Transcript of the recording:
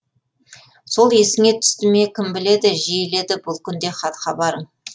сол есіңе түсті ме кім біледі жиіледі бұл күнде хат хабарың